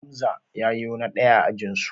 Hamza ya yo na ɗaya a ajinsu